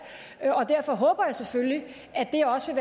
og derfor håber jeg selvfølgelig at det også